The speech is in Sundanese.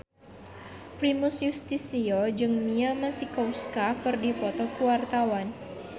Primus Yustisio jeung Mia Masikowska keur dipoto ku wartawan